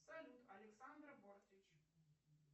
салют александра бортич